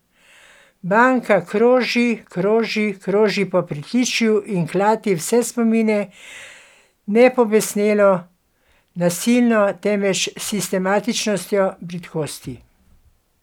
Banka kroži, kroži, kroži po pritličju in klati vse spomine, ne pobesnelo, nasilno, temveč s sistematičnostjo bridkosti.